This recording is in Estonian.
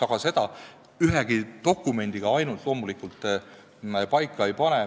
Aga seda ainult ühe dokumendiga loomulikult paika ei pane.